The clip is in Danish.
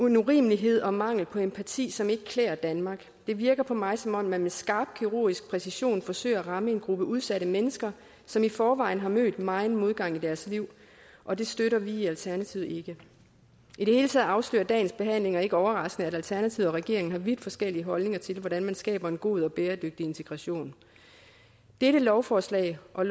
en urimelighed og mangel på empati som ikke klæder danmark det virker på mig som om man med skarp kirurgisk præcision forsøger at ramme en gruppe udsatte mennesker som i forvejen har mødt megen modgang i deres liv og det støtter vi i alternativet ikke i det hele taget afslører dagens behandling ikke overraskende at alternativet og regeringen har vidt forskellige holdninger til hvordan man skaber en god og bæredygtig integration dette lovforslag og